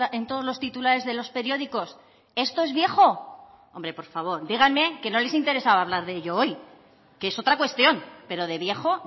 en todos los titulares de los periódicos esto es viejo hombre por favor díganme que no les interesaba hablar de ello hoy que es otra cuestión pero de viejo